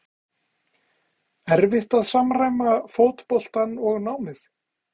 erfitt að samræma fótboltann og námið?